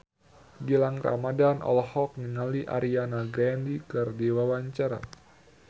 Gilang Ramadan olohok ningali Ariana Grande keur diwawancara